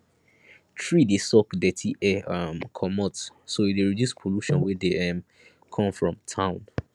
tree dey suck dirty air um comot so e dey reduce pollution wey dey um come from town